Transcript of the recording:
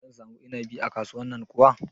Zan samu inabi a kasuwan nan kuwa?